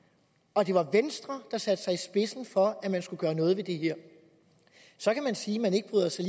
og det var venstre der satte sig i spidsen for at man skulle gøre noget ved det her så kan man sige at man ikke bryder sig